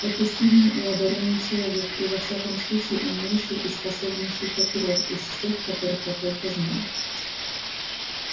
это сильный и одарённый человек и во всяком случае умнейший и способнейший прокурор из всех которых я только знал